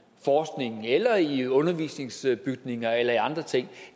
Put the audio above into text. forskning eller i undervisningsbygninger eller andre ting